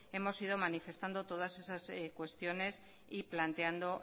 hemos manifestando todas esas cuestiones y planteando